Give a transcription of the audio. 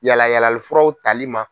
Yala yalali furaw tali ma.